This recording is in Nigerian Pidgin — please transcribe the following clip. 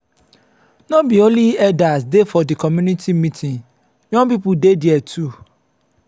no be only elders dey for di community meeting young pipo dey their too.